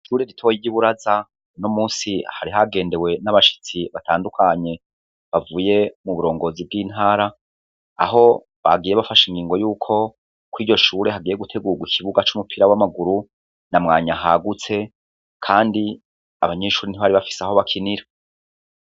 Ishure ritoyi ry'iburaza uno munsi hari hagendewe n'abashitsi batandukanye ,bavuye mu burongozi bw'intara ,aho bagiye bafashe ingingo yuko kw' iryo shure hagiye gutegugwa ikibuga c'umupira w'amaguru, na mwanya hagutse kandi abanyeshuri ntibari bafise aho bakinira.